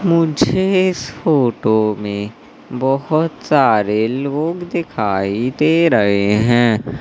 मुझे इस फोटो में बहुत सारे लोग दिखाई दे रहे हैं।